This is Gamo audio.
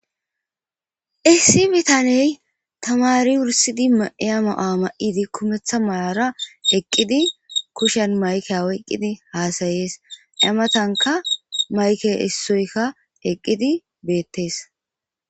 Issi bitaney tamari wurssida mayuwa mayidi kumeththa mawuwara eqidi kushshen mayikke oykiddi hasayes matankka mayikkey esoyikka eqidi bettes